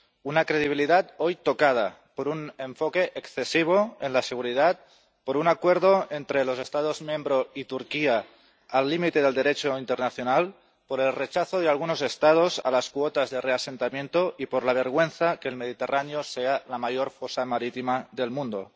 Una credibilidad hoy tocada por un enfoque excesivo en la seguridad, por un acuerdo entre los Estados miembros y Turquía al límite del Derecho internacional, por el rechazo de algunos Estados a las cuotas de reasentamiento y por la vergüenza de que el Mediterráneo sea la mayor fosa marítima del mundo.